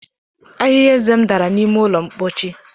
Ahịhịa eze m dara n'ime ụlọ mpochi.